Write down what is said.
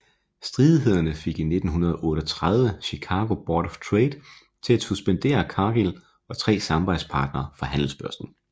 Stridighederne fik i 1938 Chicago Board of Trade til at suspendere Cargill og tre samarbejdspartnere fra handelsbørsen